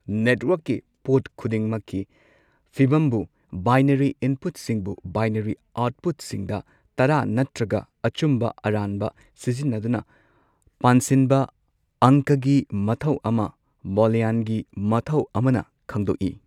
ꯅꯦꯠꯋꯔꯛꯀꯤ ꯄꯣꯠ ꯈꯨꯗꯤꯡꯃꯛꯀꯤ ꯐꯤꯚꯝꯕꯨ ꯕꯥꯢꯅꯔꯤ ꯏꯟꯄꯨꯠꯁꯤꯡꯕꯨ ꯕꯩꯅꯥꯔꯤ ꯑꯥꯎꯠꯄꯨꯠꯁꯤꯡꯗ ꯇꯔꯥ ꯅꯠꯇ꯭ꯔꯒ ꯑꯆꯨꯝꯕ ꯑꯔꯥꯟꯕ ꯁꯤꯖꯤꯟꯅꯗꯨꯅ ꯄꯥꯟꯁꯤꯟꯕ ꯑꯪꯀꯒꯤ ꯃꯊꯧ ꯑꯃ ꯕꯣꯂꯤꯌꯟꯒꯤ ꯃꯊꯧ ꯑꯃꯅ ꯈꯪꯗꯣꯛ ꯏ꯫